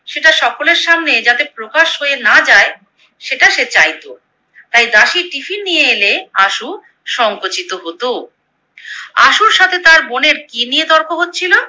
সেটা সকলের সামনে যাতে প্রকাশ হয়ে না যায় সেটা সে চাইতো, তাই দাসী টিফিন নিয়ে এলে আশু সংকোচিত হতো। আশুর সাথে তার বোনের কি নিয়ে তর্ক হচ্ছিলো?